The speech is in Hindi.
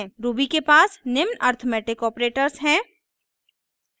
ruby के पास निम्न अरिथ्मेटिक ऑपरेटर्स हैं